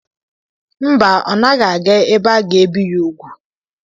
Mba, ọ naghị aga ebe aga-ebi ya úgwù.